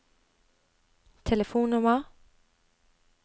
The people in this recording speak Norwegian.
telefonnummer